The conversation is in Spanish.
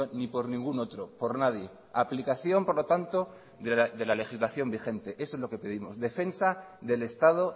ni por ningún otro por nadie aplicación por lo tanto de la legislación vigente eso es lo que pedimos defensa del estado